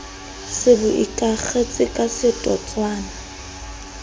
se bo ikakgetse ka setotswana